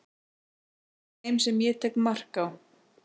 af þeim sem ég tek mark á